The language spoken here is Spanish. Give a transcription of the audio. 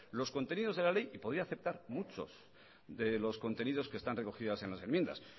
los contenidos de la ley y podría aceptar muchos de los contenidos que están recogidas en las enmiendas